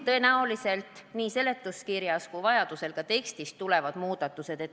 Tõenäoliselt tuleb nii seletuskirjas kui ka vajaduse korral tekstis teha muudatusi.